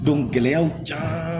gɛlɛyaw caaman